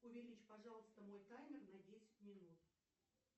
увеличь пожалуйста мой таймер на десять минут